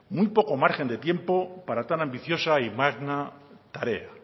muy poco margen de tiempo para tan ambiciosa y magna tarea